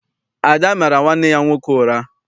Ada mara nwanne ya nwoke ụra.